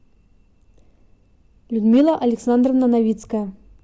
людмила александровна новицкая